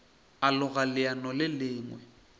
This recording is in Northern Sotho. a loga leano le lengwe